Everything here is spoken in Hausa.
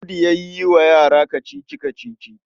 Audu yan yi wa yara kacici-kacici.